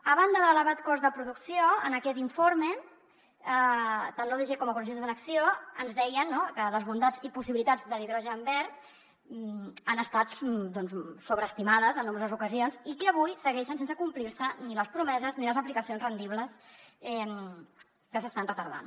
a banda de l’elevat cost de producció en aquest informe tant l’odg com ecologistes en acció ens deien no que les bondats i possibilitats de l’hidrogen verd han estat sobreestimades en nombroses ocasions i que avui segueixen sense complir se ni les promeses ni les aplicacions rendibles que s’estan retardant